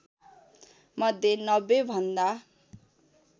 मध्ये ९० भन्दा